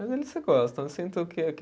Mas eles se gostam, eu sinto que